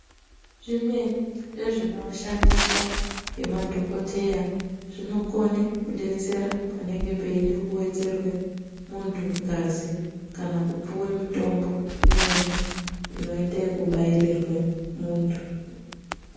Zvimweni zvezvinoshandiswa ngemadhokodheya zvinokone kudetsera panenge peide kuwedzerwe muntu ngazi kana kupuwe mitombo imweni inoite yekubairirwe muntu.